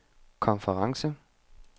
konference